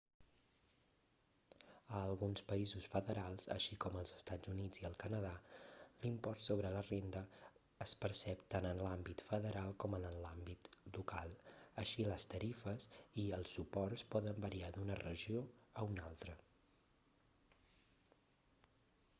a alguns països federals així com als estats units i el canadà l'impost sobre la renda es percep tant en l'àmbit federal com en l'àmbit local així les tarifes i els suports poden variar d'una regió a una altra